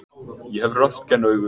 Ég hef röntgenaugu.